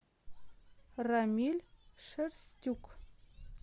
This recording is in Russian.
рамиль шерстюк